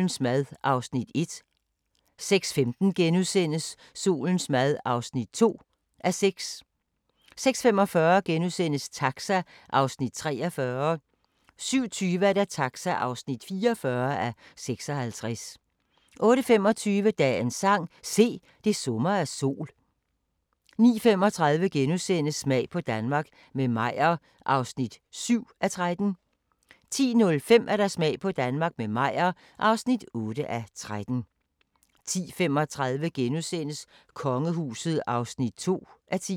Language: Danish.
17:35: Dagbog fra Woodstock - lørdag (2:3) 18:35: Guldkorn - Danmark i 1969 18:55: Rick Stein i Wien * 19:55: Dagens sang: Se, det summer af sol * 20:00: Rick Stein i Bologna 21:00: Beatles og historien om Apple 21:55: Fortiden 00:00: Bryllupsfesten * 01:40: Lyndon B. Johnson – manden der voksede med opgaven 02:40: Kvit eller Dobbelt *